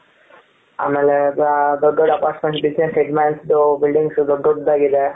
ಆಮೇಲೆ ದೊಡ್ಡ ದೊಡ್ಡ apartments ಇದೆ head mans ದೂ buildings ದೊಡ್ಡ ದೊಡ್ಡದಾಗಿ ಇದೆ.